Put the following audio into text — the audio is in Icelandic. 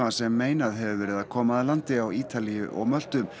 sem meinað hefur verið að koma að landi á Ítalíu og Möltu